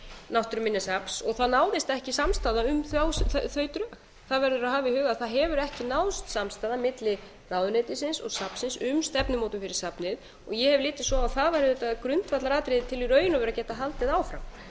náttúruminjasafns og það náðist ekki samstaða um þau drög það verður að hafa í huga að það hefur ekki náðst samstaða milli ráðuneytisins og safnsins um stefnumótun fyrir safnið og ég hef litið svo á að það væri auðvitað grundvallaratriði í raun til að geta haldið áfram til að